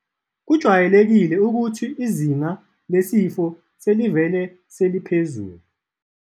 .kujwayeleke ukuthi izinga lesifo selivele seliphezulu.